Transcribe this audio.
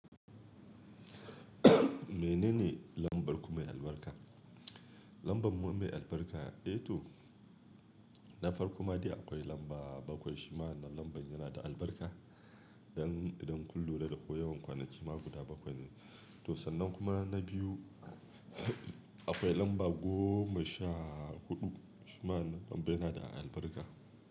Menene lambar ku mai albarka? Lambar mu mai albarka, eh to na farko ma dai akwai lamba bakwai shima wannan lambar yana da albarka idan kun lura da da ko yawan kwanaki ma guda bakwai ne. To sannan kuma na biyu akwai lamba goma sha huɗu shima wannan lambar yana da albarka.